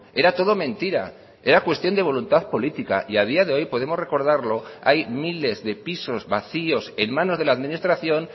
era todo mentira era cuestión de voluntad política y a día de hoy podemos recordarlo hay miles de pisos vacíos en manos de la administración